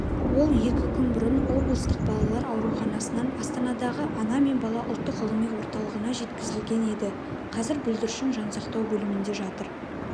ол екі күн бұрын облыстық балалар ауруханасынан астанадағы ана мен бала ұлттық ғылыми орталығына жеткізілген еді қазір бүлдіршін жансақтау бөлімінде жатыр